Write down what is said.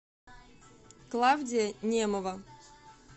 клавдия немова